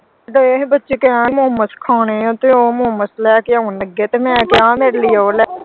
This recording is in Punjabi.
ਦਏ ਹੀ ਬੱਚੇ ਕਹਿਣ ਕਿ momos ਖਾਣੇ ਆ ਤੇ ਉਹ momos ਲੈ ਕੇ ਆਉਣ ਲੱਗੇ ਤੇ ਮੈਂ ਕਿਹਾ ਮੇਰੇ ਲਈ ਉਹ ਲੈ ਆਇਓ।